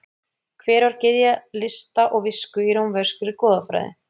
Hver var gyðja lista og visku í rómverskri goðafræði?